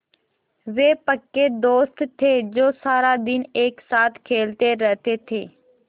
वे पक्के दोस्त थे जो सारा दिन एक साथ खेलते रहते थे